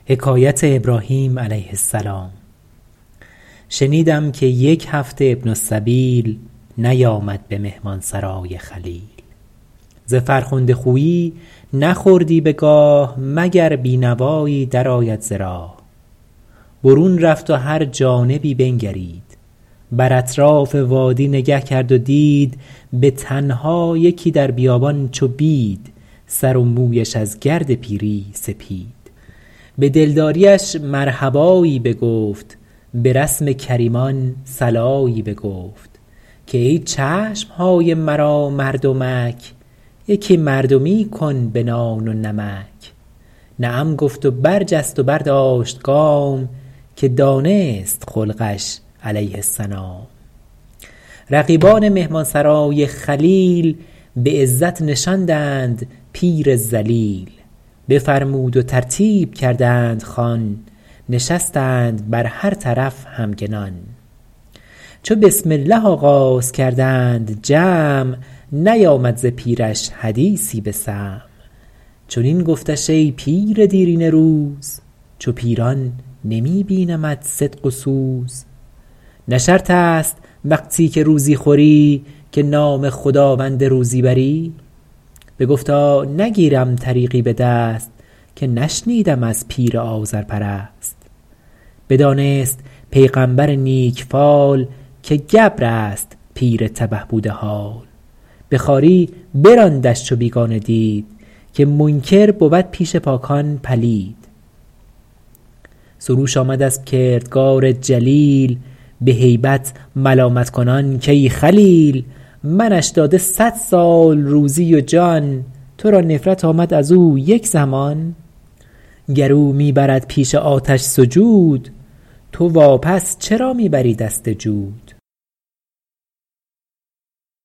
شنیدم که یک هفته ابن السبیل نیامد به مهمانسرای خلیل ز فرخنده خویی نخوردی بگاه مگر بینوایی در آید ز راه برون رفت و هر جانبی بنگرید بر اطراف وادی نگه کرد و دید به تنها یکی در بیابان چو بید سر و مویش از گرد پیری سپید به دلداریش مرحبایی بگفت به رسم کریمان صلایی بگفت که ای چشمهای مرا مردمک یکی مردمی کن به نان و نمک نعم گفت و برجست و برداشت گام که دانست خلقش علیه السلام رقیبان مهمانسرای خلیل به عزت نشاندند پیر ذلیل بفرمود و ترتیب کردند خوان نشستند بر هر طرف همگنان چو بسم الله آغاز کردند جمع نیامد ز پیرش حدیثی به سمع چنین گفتش ای پیر دیرینه روز چو پیران نمی بینمت صدق و سوز نه شرط است وقتی که روزی خوری که نام خداوند روزی بری بگفتا نگیرم طریقی به دست که نشنیدم از پیر آذرپرست بدانست پیغمبر نیک فال که گبر است پیر تبه بوده حال به خواری براندش چو بیگانه دید که منکر بود پیش پاکان پلید سروش آمد از کردگار جلیل به هیبت ملامت کنان کای خلیل منش داده صد سال روزی و جان تو را نفرت آمد از او یک زمان گر او می برد پیش آتش سجود تو وا پس چرا می بری دست جود